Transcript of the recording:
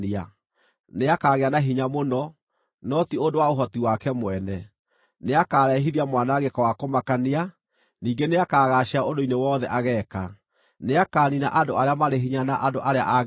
Nĩakagĩa na hinya mũno, no ti ũndũ wa ũhoti wake mwene. Nĩakarehithia mwanangĩko wa kũmakania, ningĩ nĩakagaacĩra ũndũ-inĩ wothe ageeka. Nĩakaniina andũ arĩa marĩ hinya na andũ arĩa a Ngai.